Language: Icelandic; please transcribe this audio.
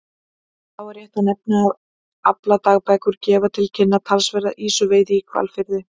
Þá er rétt að nefna að afladagbækurnar gefa til kynna talsverða ýsuveiði í Hvalfirði.